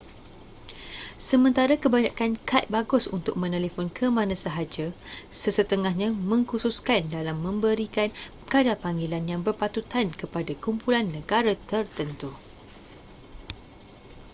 sementara kebanyakan kad bagus untuk menelefon ke mana sahaja sesetengahnya mengkhususkan dalam memberikan kadar panggilan yang berpatutan kepada kumpulan negara tertentu